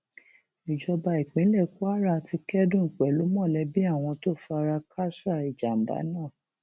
ìjọba ìpínlẹ kwara ti kẹdùn pẹlú mọlẹbí àwọn tó fara káàsà ìjàmbá náà